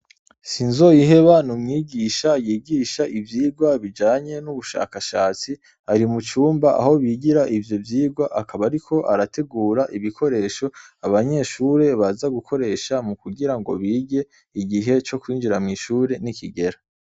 Sinzoyiheba n' umwigisha yigisha ivyigwa bijanye n' ubushakashatsi ari mucumba aho bigira ivyo vyigwa akaba ariko arategura ibikoresho abanyeshure baza gukoresha mukugirango bige igihe cokwinjira mwishure nikigera.